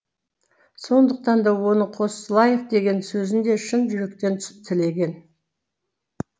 сондықтан да оның қосылайық деген сөзін де шын жүректен тілеген